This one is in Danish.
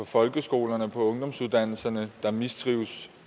folkeskolerne og på ungdomsuddannelserne der mistrives